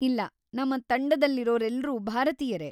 ಇಲ್ಲ, ನಮ್ಮ ತಂಡದಲ್ಲಿರೋರೆಲ್ರೂ ಭಾರತೀಯರೇ.